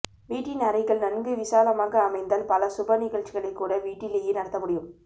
வீட்டின் அறைகள் நன்கு விசாலமாக அமைந்தால் பல சுப நிகழ்ச்சிகள் கூட வீட்டிலேயே நடத்த முடியும்